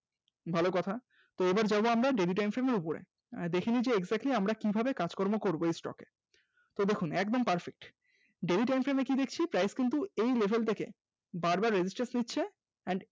ভালো কথা এবার যাব আমরা daily time frame এর উপরে দেখে নিচ্ছি exactly আমরা কিভাবে কাজকর্ম করব এই stock এ, এই দেখুন একদম perfectdaily time frame এ কি দেখছি price কিন্তু এই level টাকে বারবার resistance নিচ্ছে and